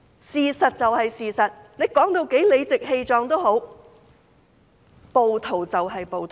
事實就是事實，說到多麼理直氣壯也好，暴徒就是暴徒。